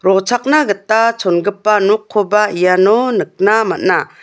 rochakna gita chongipa nokkoba iano nikna man·a.